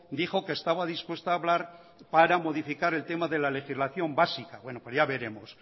dijo que estaba dispuesta a hablar para modificar el tema de la legislación básica bueno pues ya veremos